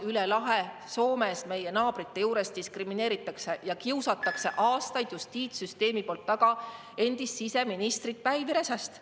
Üle lahe Soomes, meie naabrite juures, diskrimineeritakse, kiusatakse justiitssüsteemi poolt aastaid taga endist siseministrit Päivi Räsäst.